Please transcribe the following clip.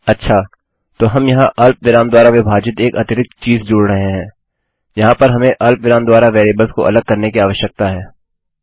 अच्छा तो हम यहाँ अर्धविराम द्वारा विभाजित एक अतिरिक्त चीज़ जोड़ रहे हैं यहाँ पर हमें अर्धविराम द्वारा वेरिएबल्स को अलग करने की आवश्यकता है